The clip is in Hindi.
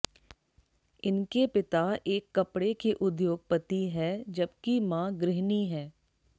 इनके पिता एक कपड़े के उद्योगपति है जबकि माँ गृहिणी है